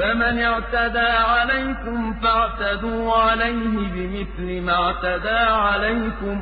ۚ فَمَنِ اعْتَدَىٰ عَلَيْكُمْ فَاعْتَدُوا عَلَيْهِ بِمِثْلِ مَا اعْتَدَىٰ عَلَيْكُمْ